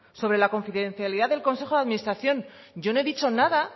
sobre la confidencialidad del consejo de administración yo no he dicho nada